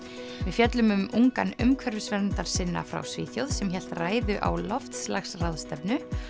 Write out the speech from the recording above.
fjöllum um ungan umhverfisverndarsinna frá Svíþjóð sem hélt ræðu á loftslagsráðstefnu